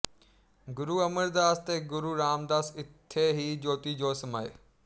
ਗੁਰੂ ਅਮਰਦਾਸ ਤੇ ਗੁਰੂ ਰਾਮਦਾਸ ਇੱਥੇ ਹੀ ਜੋਤੀ ਜੋਤ ਸਮਾਏ